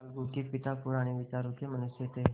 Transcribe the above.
अलगू के पिता पुराने विचारों के मनुष्य थे